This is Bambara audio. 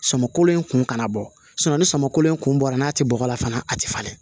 Samakolen in kun kana bɔ ni samakolen in kun bɔra n'a tɛ bɔgɔ la fana a tɛ falen